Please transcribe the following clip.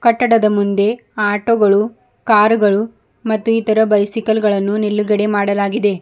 ಕಟ್ಟಡದ ಮುಂದೆ ಆಟೋ ಗಳು ಕಾರ್ ಗಳು ಮತ್ತು ಇತರ ಬೈಸಿಕಲ್ ಗಳನ್ನು ನಿಲ್ಲುಗಡೆ ಮಾಡಲಾಗಿದೆ.